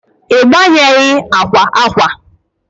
i gbanweghi akwa akwa?